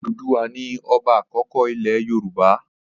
Òdùduwà ni ọba àkọ́kọ́ ilẹ̀ Yorùbá.